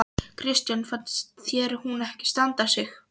Kristján: Finnst þér hún ekki standa sig?